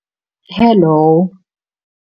hello